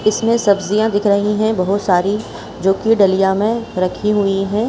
इसमें सब्जिया दिख रही है बहोत सारी जो की डलिया में रखी हुई है।